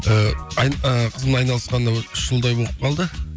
ыыы ы қызым айналысқанына бір үш жылдай болып қалды